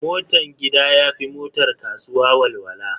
Motan gida ya fi motar kasuwa walwala.